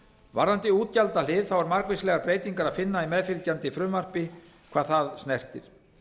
varðandi útgjaldahlið er margvíslegar breytingar er að finna í meðfylgjandi frumvarpi hvað það snertir